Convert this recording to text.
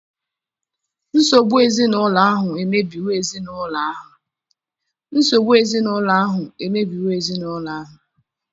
Nsogbu ezinụlọ ahụ emebiwo ezi ezinụlọ ahụ.